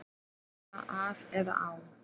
Nú er bara af eða á.